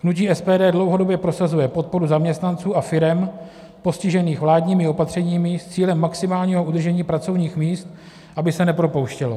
Hnutí SPD dlouhodobě prosazuje podporu zaměstnanců a firem postižených vládními opatřeními s cílem maximálního udržení pracovních míst, aby se nepropouštělo.